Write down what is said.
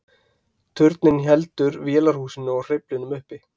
turninn heldur vélarhúsinu og hreyflinum uppi